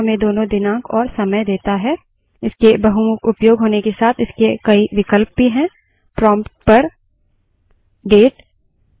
जैसे कि हम देख सकते हैं date command हमें दोनों दिनांक और समय देता है इसके बहुमुख उपयोग होने के साथ इसके कई विकल्प भी हैं